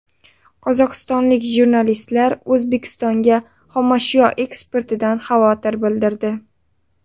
Qozog‘istonlik jurnalistlar O‘zbekistonga xomashyo eksportidan xavotir bildirdi.